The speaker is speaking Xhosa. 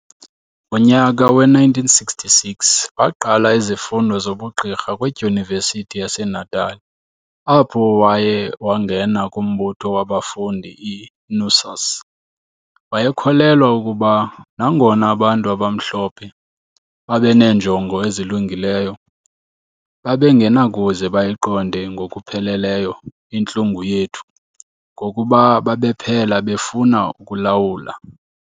Ngonyaka we-1966 waqala izifundo zobu Gqirha kwiDyunivesithi yaseNatal apho waye wangena kumbutho wabafundi i-NUSAS . Wayekholelwa ukuba, nangona abantu abamhlophe babeneenjongo ezilungileyo, babengenakuze bayiqonde ngokupheleleyo intlungu yethu ngokuba babephela befuna ukulawula.